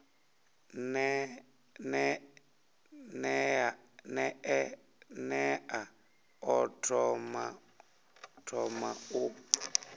ne a ḓo thoma u